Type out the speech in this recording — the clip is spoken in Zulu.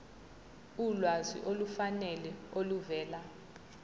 ulwazi olufanele oluvela